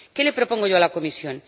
¿Qué le propongo yo a la Comisión?